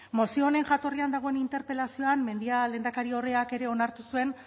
mozio honen jatorrian dagoen interpelazioan mendia lehendakariordeak ere onartu zuen